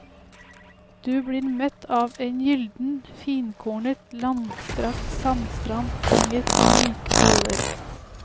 Du blir møtt av en gylden, finkornet, langstrakt sandstrand, omgitt av myke koller.